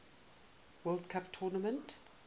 world cup tournament